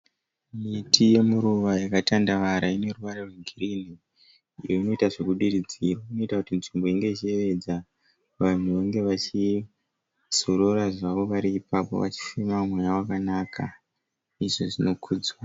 Miti yemuruva yakatandavara, ineruvara rwegirinhi iyo inoita zvekudiridzirwa. Inoita kuti nzvimbo inge ichiyevedza, vanhu vange vachizorora zvavo vari ipapo vachifema mweya wakanaka, izvi zvinokudzwa.